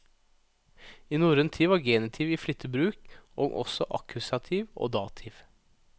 I norrøn tid var genitiv i flittig bruk, og også akkusativ og dativ.